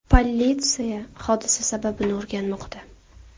Politsiya hodisa sababini o‘rganmoqda.